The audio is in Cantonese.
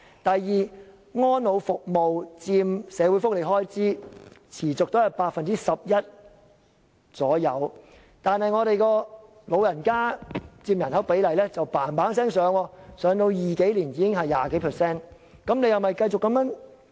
第二，安老服務持續佔社會福利開支約 11%， 但本港長者佔人口的比例卻急速上升，到2020年後，便佔人口 20% 以上。